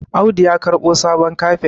Audu ya karɓo sabon kafet